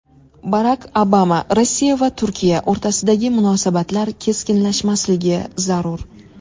Barak Obama: Rossiya va Turkiya o‘rtasidagi munosabatlar keskinlashmasligi zarur.